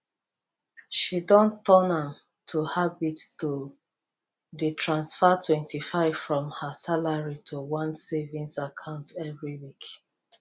she don turn am to habit to dey transfer 25 from her salary to one savings account every week